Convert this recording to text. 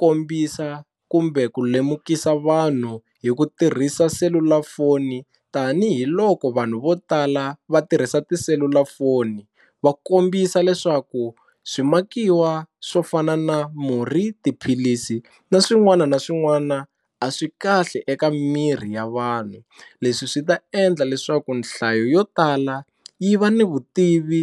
kombisa kumbe ku lemukisa vanhu hi ku tirhisa selulafoni tanihiloko vanhu vo tala va tirhisa tiselulafoni va kombisa leswaku swimakiwa swo fana na murhi, tiphilisi na swin'wana na swin'wana a swi kahle eka miri ya vanhu, leswi swi ta endla leswaku nhlayo yo tala yi va ni vutivi